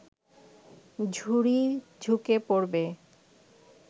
ঝুড়ি ঝুঁকে পড়বে